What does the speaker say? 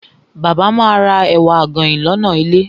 Bàbá ma ra ẹ̀wà àgànyìn lọ́nà ilé.